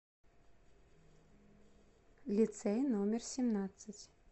лицей номер семнадцать